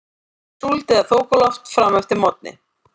Súld eða þokuloft fram eftir morgni